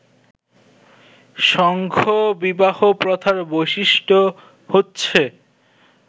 সংঘ-বিবাহ প্রথার বৈশিষ্ট্য হচ্ছে